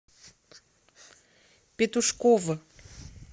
петушков